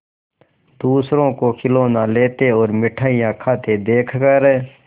दूसरों को खिलौना लेते और मिठाई खाते देखकर